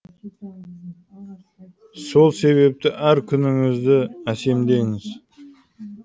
сол себепті әр күніңізді әсемдеңіз